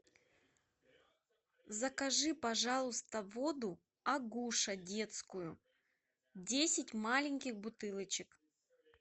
закажи пожалуйста воду агуша детскую десять маленьких бутылочек